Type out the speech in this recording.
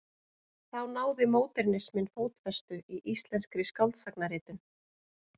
Þá náði módernisminn fótfestu í íslenskri skáldsagnaritun.